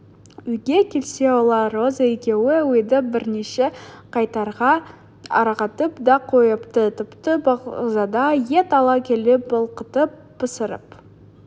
үйге келсе олар роза екеуі үйді бірнеше қайтара ағартып та қойыпты тіпті бағзада ет ала келіп былқытып пісіріп